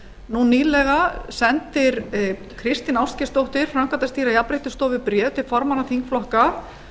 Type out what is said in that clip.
nú nýlega sendir kristín ástgeirsdóttir framkvæmdastýra jafnréttisstofu bréf til formanna þingflokka